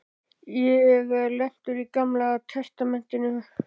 Ég er lentur í Gamla testamentinu.